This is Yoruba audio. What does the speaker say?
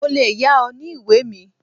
Mo lè yá ọ ní ìwé mi.